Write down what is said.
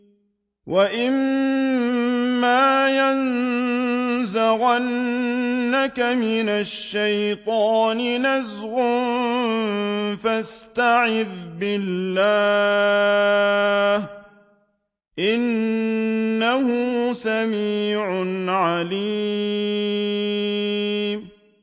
وَإِمَّا يَنزَغَنَّكَ مِنَ الشَّيْطَانِ نَزْغٌ فَاسْتَعِذْ بِاللَّهِ ۚ إِنَّهُ سَمِيعٌ عَلِيمٌ